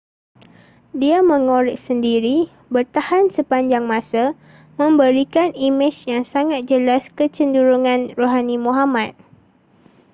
dia mengorek sendiri bertahan sepanjang masa memberikan imej yang sangat jelas kecenderungan rohani muhammad